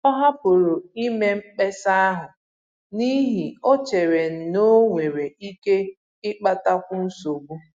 Ọ hapụrụ ime mkpesa ahụ n'ihi o chere n'onwere ike ịkpatakwu nsogbu